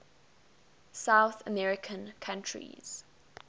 south american countries